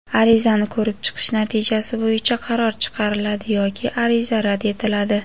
Arizani ko‘rib chiqish natijasi bo‘yicha qaror chiqariladi yoki ariza rad etiladi.